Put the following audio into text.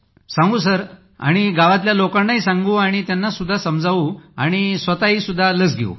सांगू सर आणि लोकांना सांगू आणि त्यांना समजावू आणि स्वतःही घेऊ